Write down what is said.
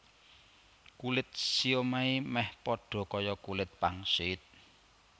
Kulit siomai méh padha kaya kulit pangsit